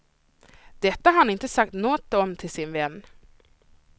Detta har han inte sagt något om till sin vän.